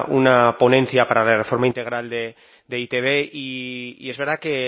una ponencia para la reforma integral de e i te be y es verdad que